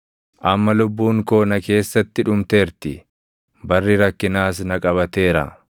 “Amma lubbuun koo na keessatti dhumteerti; barri rakkinaas na qabateera.